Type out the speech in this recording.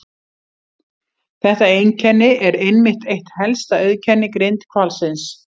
Þetta einkenni er einmitt eitt helsta auðkenni grindhvalsins.